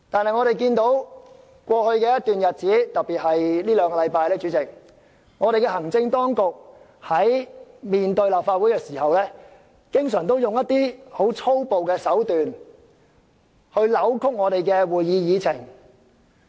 可是，在過去一段日子，特別是這兩個星期，主席，我們看到行政當局在面對立法會時，經常以粗暴手段來扭曲我們的議程。